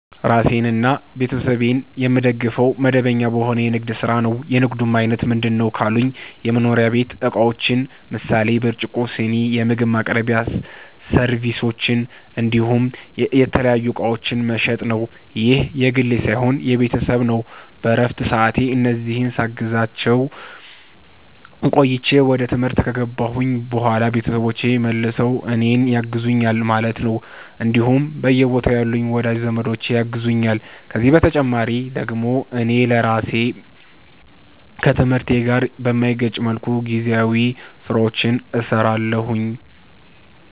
ራሴንና ቤተሰቤን የምደግፈዉ፦ መደበኛ በሆነ የንግድ ስራ ነዉ። የንግዱም አይነት ምንድነዉ ካሉኝ የመኖሪያ ቤት እቃዎችን ምሳሌ፦ ብርጭቆ, ስኒ, የምግብ ማቅረቢያ ሰርቪሶች እንዲሁም የተለያዩ እቃዎችን መሸጥ ነዉ። ይህ የግሌ ሳይሆን የቤተሰብ ነዉ በረፍት ሰዓቴ እነዚህን ሳግዛቸዉ ቆይቼ ወደ ትምህርት ከገባሁኝ በኋላ ቤተሰቦቼ መልሰዉ እኔን ያግዙኛል ማለት ነዉ እንዲሁም በየቦታዉ ያሉም ወዳጅ ዘመዶቼ ያግዙኛል ከዚህ በተጨማሪ ደግሞ እኔ ራሴ ከትምህርቴ ጋር በማይጋጭ መልኩ ጊዜያዊ ስራዎችንም ሰራለሁኝ